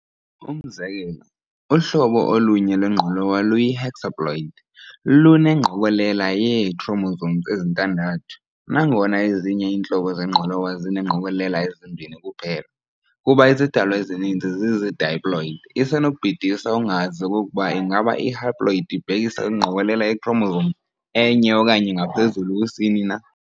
Umzekelo, uhlobo olunye lwengqolowa luyi-hexaploid, luneengqokolela yee- chromosomes ezintadathu, nangona ezinye iintlobo zengqolowa zineengqokolela ezimbini kuphela. Kuba izidalwa ezininzi zizi-diploid, isenobhidisa ungazi okokuba ingaba i-haploid ibhekisa kwingqokolela yee-chromosomes enye okanye ngaphezulu kusini na.